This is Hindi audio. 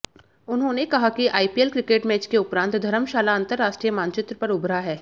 उन्होंने कहा कि आईपीएल क्रिकेट मैच के उपरांत धर्मशाला अंतरराष्ट्रीय मानचित्र पर उभरा है